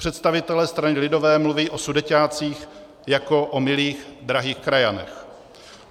Představitelé strany lidové mluví o Sudeťácích jako o milých, drahých krajanech.